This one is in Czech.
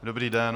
Dobrý den.